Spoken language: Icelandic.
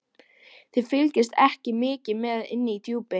Þið fylgist ekki mikið með inni í Djúpi.